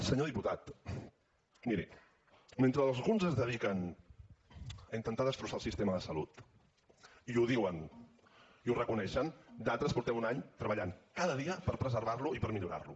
senyor diputat miri mentre alguns es dediquen a intentar destrossar el sistema de salut i ho diuen i ho reconeixen d’altres fa un any que treballem cada dia per preservar lo i per millorar lo